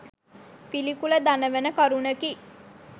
පිළිකුල දනවන කරුණකි.